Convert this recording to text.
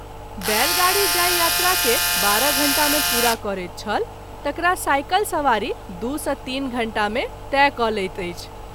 बैलगाड़ी जाहि यात्रा के बारह घंटा मे पूरा करैत छल तकरा साइकिल सबारी दू सँ तीन घंटा मे तय क’ लैत अछि।